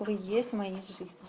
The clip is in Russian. вы есть в моей жизни